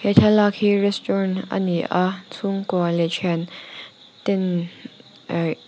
thlalak hi restaurant ani a chhungkua leh thian ten ah--